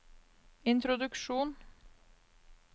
introduksjon